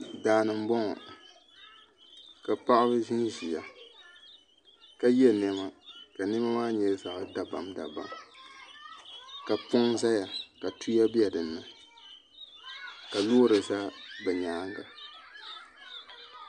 Daani n boŋo ka paɣaba ʒinʒiya ka yɛ niɛma ka niɛma maa nyɛ zaɣ dabam dabam ka poŋ ʒɛya ka tuya bɛ dinni ka loori ʒɛ bi nyaanga